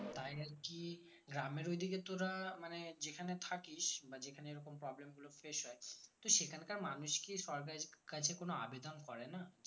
গ্রামের ওইদিকে তোরা মানে যেখানে থাকিস বা যেখানে এইরকম problem গুলো face হয় তো সেখানকার মানুষ কী সরকারি কাজে কোনো আবেদন করেনা